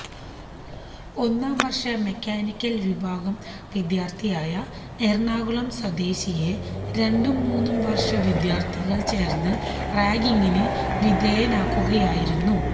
ഒന്നാം വര്ഷ മെക്കാനിക്കല് വിഭാഗം വിദ്യാര്ഥിയായ എറണാകുളം സ്വദേശിയെ രണ്ടും മൂന്നും വര്ഷ വിദ്യാര്ഥികള് ചേര്ന്ന് റാഗിംഗിന് വിധേയനാക്കുകയായിരുന്നു